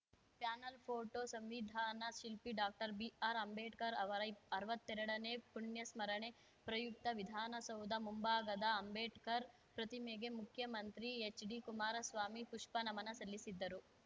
panel photo ಸಂವಿಧಾನ ಶಿಲ್ಪಿ doctor B R Ambedkar ಅವರ ಇಪ್ ಅರ್ವತ್ತೆರಡನೇ ಪುಣ್ಯ ಸ್ಮರಣೆ ಪ್ರಯುಕ್ತ ವಿಧಾನಸೌಧ ಮುಂಭಾಗದ ಅಂಬೇಡ್ಕರ್‌ ಪ್ರತಿಮೆಗೆ ಮುಖ್ಯಮಂತ್ರಿ ಎಚ್‌ಡಿ ಕುಮಾರಸ್ವಾಮಿ ಪುಷ್ಪ ನಮನ ಸಲ್ಲಿಸಿದ್ದರು